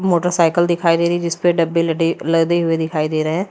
Motorcycle दिखाई दे रही जिस पे डब्बे लडे लदे हुए दिखाई दे रहे हैं।